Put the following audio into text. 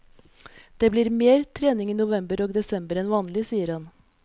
Det blir mer trening i november og desember enn vanlig, sier han.